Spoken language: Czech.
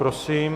Prosím.